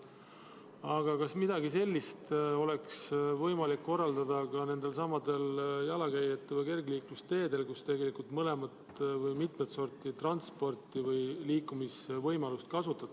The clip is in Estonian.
Aga kas midagi sellist oleks võimalik korraldada ka nendelsamadel jalakäijate või kergliiklusteedel, kus tegelikult kasutatakse mitut sorti transpordivahendeid ja liikumisvõimalusi?